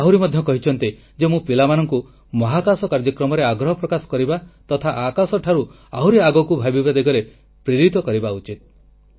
ସେ ଆହୁରି ମଧ୍ୟ କହିଛନ୍ତି ଯେ ମୁଁ ପିଲାମାନଙ୍କୁ ମହାକାଶ କାର୍ଯ୍ୟକ୍ରମରେ ଆଗ୍ରହ ପ୍ରକାଶ କରିବା ତଥା ଆକାଶ ଠାରୁ ଆହୁରି ଆଗକୁ ଭାବିବା ଦିଗରେ ପ୍ରେରିତ କରିବା ଉଚିତ